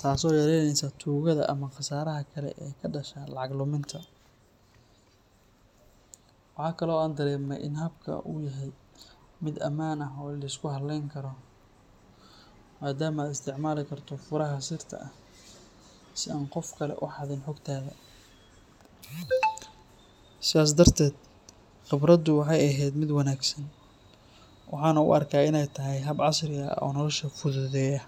taasoo yaraynaysa tuugada ama khasaaraha kale ee ka dhasha lacag luminta. Waxa kale oo aan dareemay in habkan uu yahay mid ammaan ah oo la isku halayn karo, maadaama aad isticmaali karto furaha sirta ah si aan qof kale u xadin xogtaada. Sidaas darteed, khibradaydu waxay ahayd mid wanaagsan, waxaana u arkaa inay tahay hab casri ah oo nolosha fududeeya.